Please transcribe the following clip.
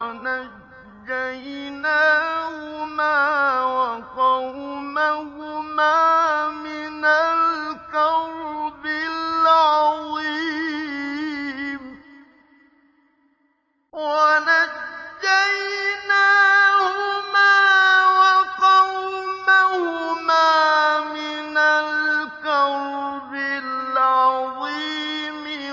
وَنَجَّيْنَاهُمَا وَقَوْمَهُمَا مِنَ الْكَرْبِ الْعَظِيمِ